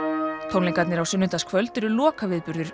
tónleikarnir á sunnudagskvöld eru